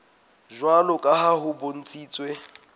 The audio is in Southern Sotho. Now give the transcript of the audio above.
jwalo ka ha ho bontshitswe